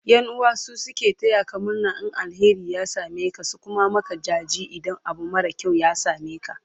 ƴan'uwa su suke tayaka murna in alheri ya sameka su Kuma Maka jaji idan Abu mara kyau ya sameka